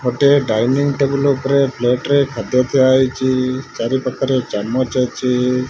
ଗୋଟିଏ dining table ଉପରେ ପ୍ଲେଟରେ ଖାଦ୍ୟ ଥୁଆ ହେଇଚି। ଚାରିପାଖରେ ଚାମଚ ଅଛି।